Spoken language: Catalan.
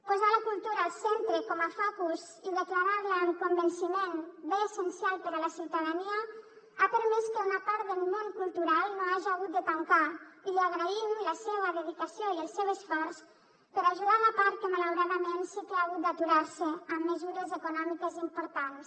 posar la cultura al centre com a focus i declarar la amb convenciment bé essencial per a la ciutadania ha permès que una part del món cultural no haja hagut de tancar i li agraïm la seua dedicació i el seu esforç per ajudar la part que malauradament sí que ha hagut d’aturar se amb mesures econòmiques importants